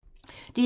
DR2